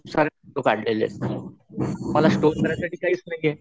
खूप सारे व्हिडिओस काढलेले मला स्टोर करण्यासाठी काहीच नाहीये.